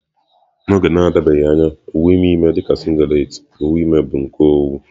N'oge na-adịbeghị anya, uwe ime ime dị ka singlet, uwe ime bụ nke owu.